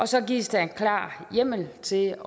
så gives der klar hjemmel til